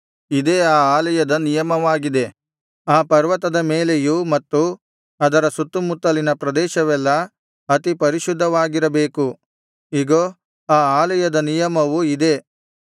ಇದೇ ಆ ಆಲಯದ ನಿಯಮವಾಗಿದೆ ಆ ಪರ್ವತದ ಮೇಲೆಯೂ ಮತ್ತು ಅದರ ಸುತ್ತುಮುತ್ತಲಿನ ಪ್ರದೇಶವೆಲ್ಲಾ ಅತಿ ಪರಿಶುದ್ಧವಾಗಿರಬೇಕು ಇಗೋ ಆ ಆಲಯದ ನಿಯಮವು ಇದೇ